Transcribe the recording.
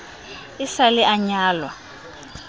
e sa le a nyalwa